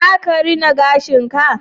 Za ka rina gashin ka?